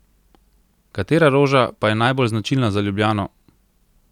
Katera roža pa je najbolj značilna za Ljubljano?